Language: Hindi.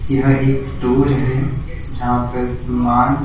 यह एक स्टोर हैजहां पर सामान--